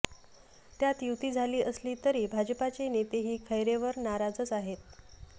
त्यात युती झाली असली तरी भाजपाचे नेतेही खैरैंवर नाराजच आहे